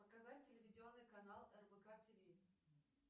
показать телевизионный канал рбк тв